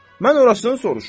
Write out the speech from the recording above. Mən orasın soruşuram.